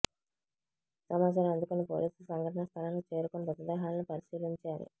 సమాచారం అందుకున్న పోలీసులు సంఘటనా స్థలానికి చేరుకొని మృతదేహాలను పరిశీలించారు